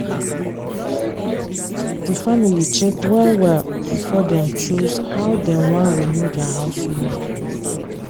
di family check well-well before dem choose how dem wan renew their house loan.